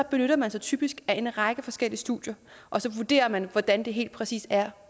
benytter man sig typisk af en række forskellige studier og så vurderer man hvordan det helt præcis er